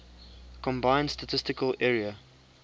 combined statistical area